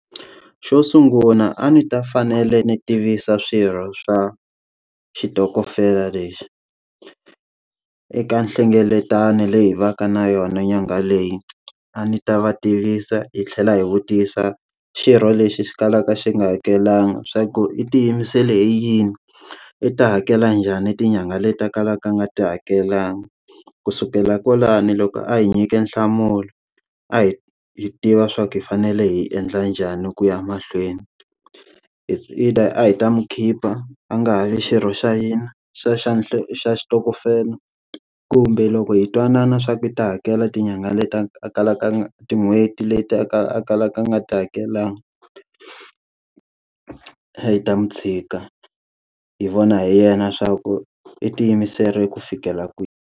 Xo sungula a ni ta fanele ni tivisa swirho swa xitokofela lexi, eka nhlengeletano leyi va ka na yona nyanga leyi. A ni ta va tivisa hi tlhela hi vutisa xirho lexi xi kalaka xi nga hakelanga swa ku i tiyimisele hi yini? I ta hakela njhani tinyangha leta kalaka a nga ti hakelanga? Ku sukela kwalani loko a hi nyike nhlamulo, a hi hi tiva swa ku hi fanele hi endla njhani ku ya mahlweni. Its either a hi ta n'wi khipha a nga ha vi xirho xa hina xa xitokofela, kumbe loko hi twanana swa ku i ta hakela tinyangha leti a kalaka tin'hweti leti akaka a kalaka nga ti hakelanga a hi ta n'wi tshika hi vona hi yena swa ku i tiyimiserile ku fikela kwihi.